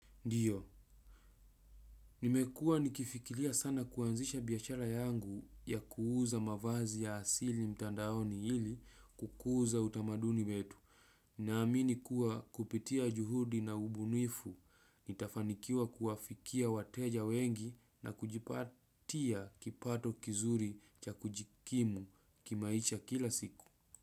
Ndiyo, nimekuwa nikifikilia sana kuanzisha biashara yangu ya kuuza mavazi ya asili mtandaoni hili kukuza utamaduni wetu. Naamini kuwa kupitia juhudi na ubunifu, nitafanikiwa kuwafikia wateja wengi na kujipatia kipato kizuri cha kujikimu kimaisha kila siku.